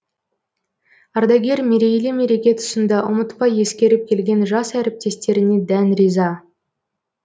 ардагер мерейлі мереке тұсында ұмытпай ескеріп келген жас әріптестеріне дән риза